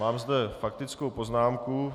Mám zde faktickou poznámku.